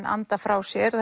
anda frá sér